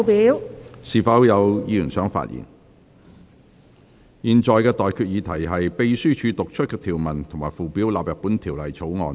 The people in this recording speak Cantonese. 我現在向各位提出的待決議題是：秘書已讀出的條文及附表納入本條例草案。